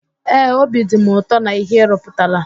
Ee, obi dị m ụtọ na íhé ị rụputara.